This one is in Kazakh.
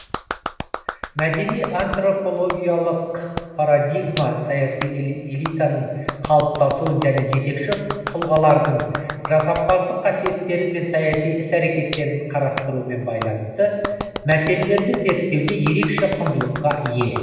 мәдени антропологиялық парадигма саяси элитаның калыптасуын және жетекші тұлғалардың жасампаздық қасиеттері мен саяси іс әрекеттерін карастырумен байланысты мәселелерді зерттеуде ерекше құндылықка ие